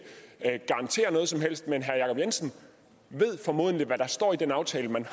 garantere noget som helst men herre jacob jensen ved formodentlig hvad der står i den aftale man